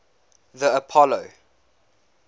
the apollo